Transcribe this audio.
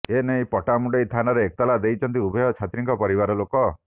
ଏନେଇ ପଟ୍ଟାମୁଣ୍ଡାଇ ଥାନାରେ ଏତଲା ଦେଇଛନ୍ତି ଉଭୟ ଛାତ୍ରୀଙ୍କ ପରିବାରଲୋକ